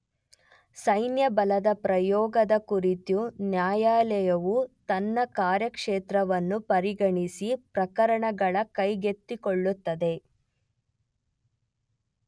ಸೈನ್ಯಬಲದ ಪ್ರಯೋಗದ ಕುರಿತು ನ್ಯಾಯಾಲಯವು ತನ್ನ ಕಾರ್ಯಕ್ಷೇತ್ರವನ್ನು ಪರಿಗಣಿಸಿ ಪ್ರಕರಣಗಳ ಕೈಗೆತ್ತಿಕೊಳ್ಳುತ್ತದೆ.